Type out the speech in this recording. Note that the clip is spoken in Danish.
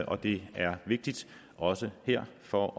og det er vigtigt også her for